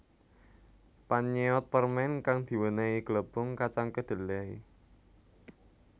Pannyeot permen kang diwenehi glepung kacang kedelai